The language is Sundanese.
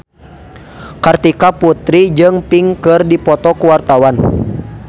Kartika Putri jeung Pink keur dipoto ku wartawan